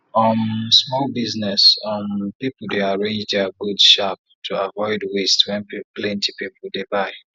um small business um people dey arrange their goods sharp to avoid waste when plenty people dey buy